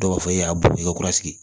Dɔw b'a fɔ e y'a bɔ i ka kura sigi